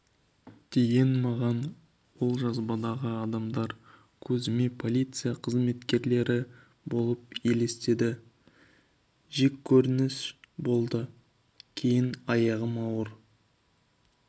деген маған ол жазбадағы адамдар көзіме полиция қызметкерлері болып елестеді жеккөрініш болды кейін аяғым ауыр